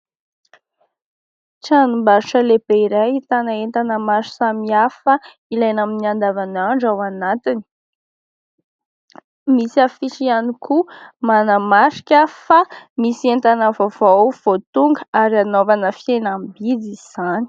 Tranom-barotra lehibe iray ahitana entana maro samihafa ilaina amin'ny andavanandro ao anatiny. Misy afisy ihany koa manamarika fa misy entana vaovao vao tonga ary hanaovana fihenam-bidy izany.